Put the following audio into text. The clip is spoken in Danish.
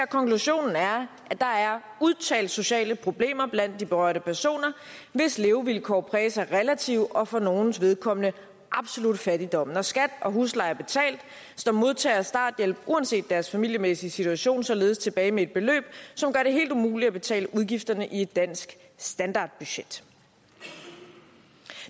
konklusionen er at der er udtalte sociale problemer blandt de berørte personer hvis levevilkår præges af relativ og for nogles vedkommende absolut fattigdom når skat og husleje er betalt står modtagere af starthjælp uanset deres familiemæssige situation således tilbage med et beløb som gør det helt umuligt at betale udgifterne i et dansk standardbudget